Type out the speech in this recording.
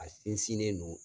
A sinsinnen no